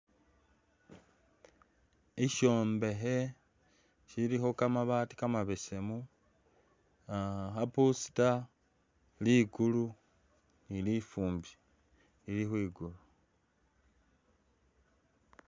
Isyombekhe silikho kamabaati kamabesemu ah kha booster, likulu ni lifumbi lili khwikulu